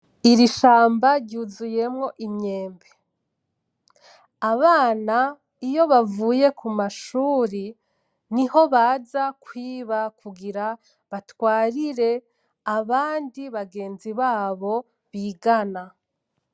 Iri shamba ryuzuyemwo imyembe. Abana iyo bavuye ku mashuri, niho baza kwiba kugira batwarire abandi bagenzi babo bigana.